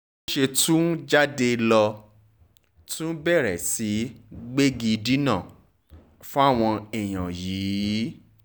bó ṣe tún jáde ló tún bẹ̀rẹ̀ sí í gbégidínà fáwọn èèyàn yìí